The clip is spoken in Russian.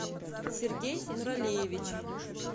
сергей нуралиевич